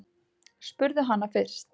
Spurðu hana fyrst.